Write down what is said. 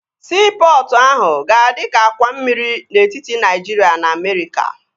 Siipọtụ ahụ ga-adi ka àkwà mmiri n'etiti Naịjiria na Amerịka